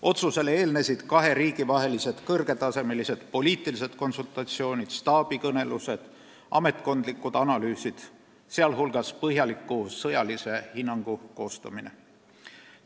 Otsusele eelnesid kahe riigi vahelised kõrgetasemelised poliitilised konsultatsioonid, staabikõnelused ja ametkondlikud analüüsid, sh põhjaliku sõjalise hinnangu koostamine.